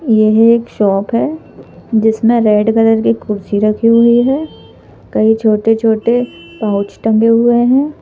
यह एक शॉप है जिसमें रेड कलर की कुर्सी रखी हुई है कई छोटे-छोटे पाउच टंगे हुए हैं।